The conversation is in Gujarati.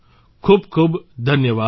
ખૂબ ખૂબ ધન્યવાદ